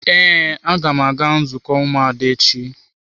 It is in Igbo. Ee, aga m aga nzukọ ụmụada echi.